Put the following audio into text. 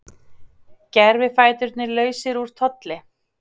Gervifæturnir lausir úr tolli